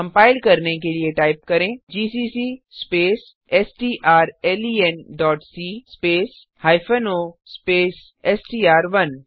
compile करने के लिए टाइप करें जीसीसी स्पेस strlenसी स्पेस o स्पेस एसटीआर1